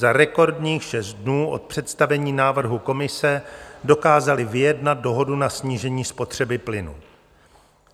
Za rekordních šest dnů od představení návrhu Komise dokázali vyjednat dohodu na snížení spotřeby plynu.